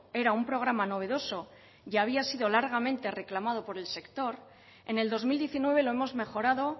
era un programa novedoso y había sido largamente reclamado por el sector en el dos mil diecinueve lo hemos mejorado